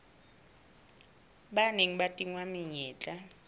ba neng ba tingwa menyetla